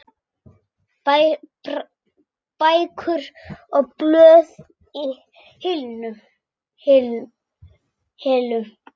Bækur og blöð í hillum.